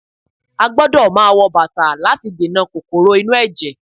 A gbọ́dọ̀ máa wọ bàtà láti dènà kòkòrò inú ẹ̀jẹ̀